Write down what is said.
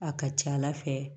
A ka ca ala fɛ